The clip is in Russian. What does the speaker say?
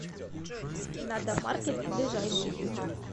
надомаркет ближайший